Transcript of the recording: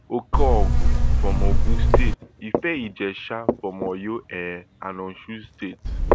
okeogun from ogun state ifeijesha from oyo um and osun states